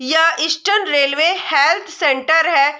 यह eastern railway health centre है।